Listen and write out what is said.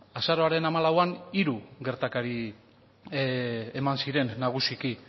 azaroaren hamalauan hiru gertakari eman ziren nagusiki